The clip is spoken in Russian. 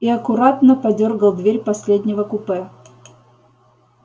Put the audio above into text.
и аккуратно подёргал дверь последнего купе